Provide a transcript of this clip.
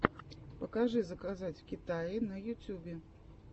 покажи заказать в китае на ютюбе